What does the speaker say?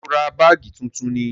Ṣé ó ra báàgì tuntun ni?